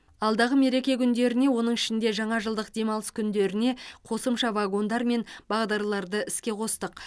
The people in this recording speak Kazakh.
алдағы мереке күндеріне оның ішінде жаңажылдық демалыс күндеріне қосымша вагондар мен бағдарларды іске қостық